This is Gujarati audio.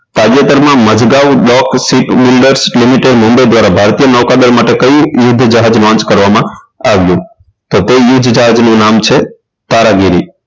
તાજેતરમાં મજગાઉ ડોક seat ની અંદર દસ કિલોમીટર મુંબઈ દ્વારા ભારતીય નૌકાદળ માટે કઈ યુદ્ધ જાહાજ launch કરવામાં આવ્યું તો તે યુદ્ધ જહાજનુ નામ છે ફારાગીરી